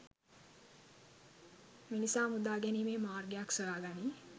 මිනිසා මුදාගැනිමේ මාර්ගයක් සොයා ගනි